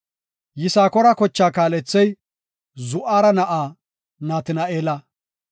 Yisakoora kochaa kaalethey Zu7ara na7aa Natina7eela.